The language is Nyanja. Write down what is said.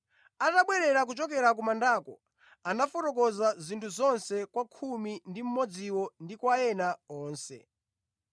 Atabwerera kuchokera ku mandako, anafotokoza zinthu zonse kwa khumi ndi mmodziwo ndi kwa ena onse.